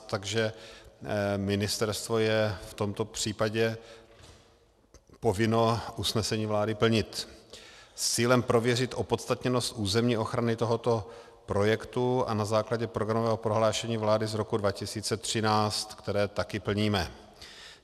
Takže ministerstvo je v tomto případě povinno usnesení vlády plnit s cílem prověřit opodstatněnost územní ochrany tohoto projektu a na základě programového prohlášení vlády z roku 2013, které také plníme.